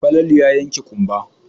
Falalu ya yanke ƙumba.